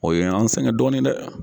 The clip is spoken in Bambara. O y'an sɛgɛn dɔɔni dɛ.